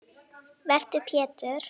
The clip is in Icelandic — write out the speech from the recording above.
Vertu Pétur.